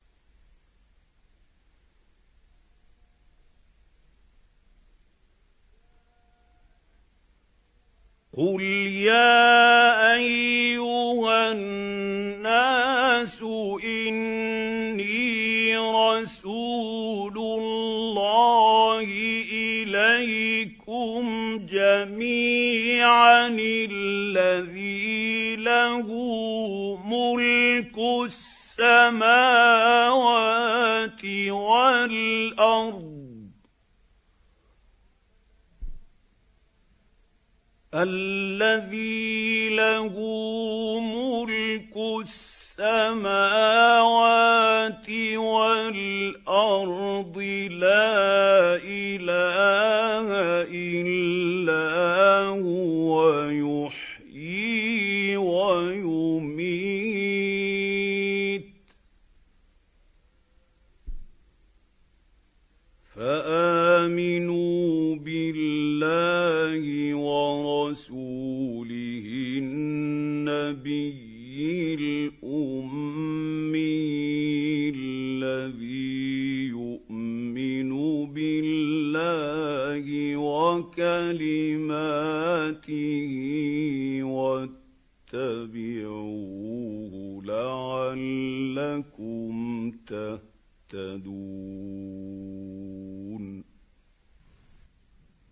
قُلْ يَا أَيُّهَا النَّاسُ إِنِّي رَسُولُ اللَّهِ إِلَيْكُمْ جَمِيعًا الَّذِي لَهُ مُلْكُ السَّمَاوَاتِ وَالْأَرْضِ ۖ لَا إِلَٰهَ إِلَّا هُوَ يُحْيِي وَيُمِيتُ ۖ فَآمِنُوا بِاللَّهِ وَرَسُولِهِ النَّبِيِّ الْأُمِّيِّ الَّذِي يُؤْمِنُ بِاللَّهِ وَكَلِمَاتِهِ وَاتَّبِعُوهُ لَعَلَّكُمْ تَهْتَدُونَ